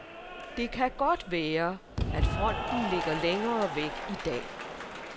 Det kan godt være, at fronten ligger længere væk i dag.